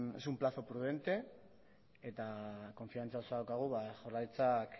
es un plazo prudente eta konfidantza osoa daukagu ba jaurlaritzak